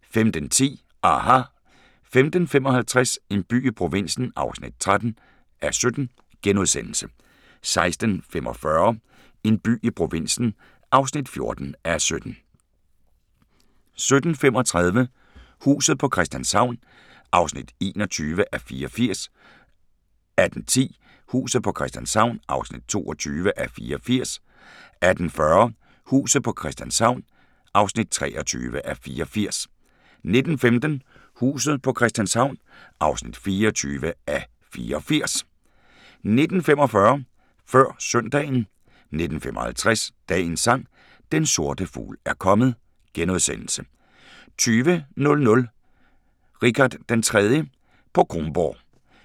15:10: aHA! 15:55: En by i provinsen (13:17)* 16:45: En by i provinsen (14:17)* 17:35: Huset på Christianshavn (21:84) 18:10: Huset på Christianshavn (22:84) 18:40: Huset på Christianshavn (23:84) 19:15: Huset på Christianshavn (24:84) 19:45: Før Søndagen 19:55: Dagens Sang: Den sorte fugl er kommet * 20:00: Richard den 3. på Kronborg